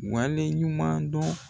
Waleɲuman dɔn